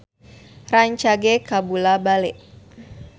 Sora Oppie Andaresta rancage kabula-bale